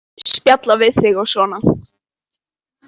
Spjalla við þig og svona.